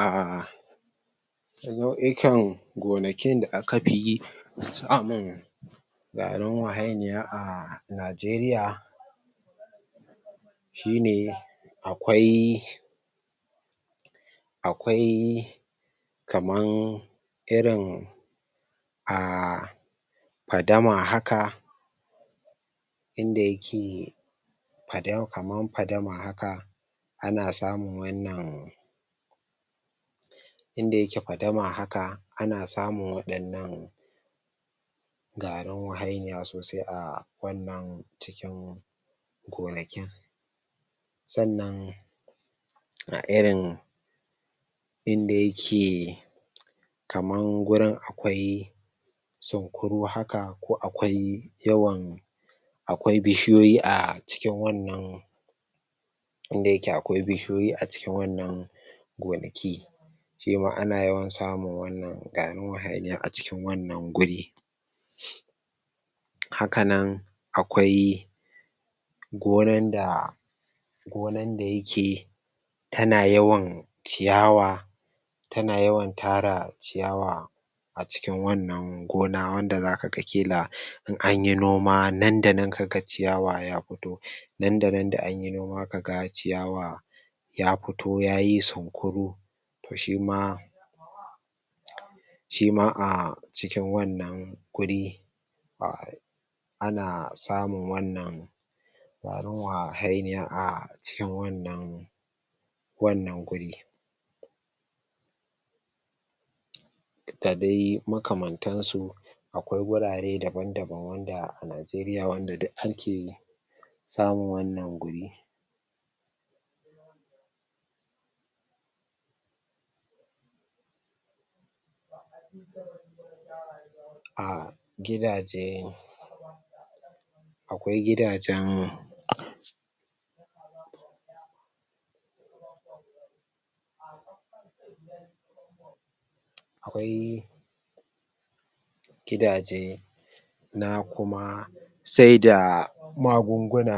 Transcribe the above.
ah nau'ikan gonakin da aka pi samun garin wahainiya a najeriya shibe shine akwai akwai kaman irin ah padama haka inda yake pada kaman padama haka ana samun wannan inda yake padama haka ana samun wadannan garin wahainiya sosai a wannan cikin gona kin sannan a irin inda yake kaman gurin akwai cinkuru haka ko akwai yawan akwai bishiyoyi a cikin wannan inda yake akwai bishiyoyi a cikin wannan gonaki shima ana yawan samun wannan garin wahainiya a cikin wannan guri haka nan akwai gonan da gonan da yake tana yawan ciyawa tana yawan tara ciyawa a cikin wannan gona wanda zaka ga kila in anyi noma nan da nan kaga ciyawa ya fito nan da nan da anyi noma kaga ciyawa ya fito yayi sunkuru toh shima shima a cikin wannan guri ah ana samun wannan garin wahainiya a cikin wannan wannan guri da dai makamantan su. Akwai gurare daban-daban wanda a najeriya wanda duk ake samun wannan guri a gidaje akwai gidajan akwai gidaje na kuma sai da magunguna